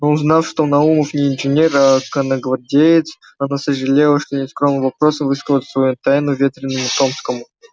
но узнав что наумов не инженер а конногвардеец она сожалела что нескромным вопросом высказала свою тайну ветреному томскому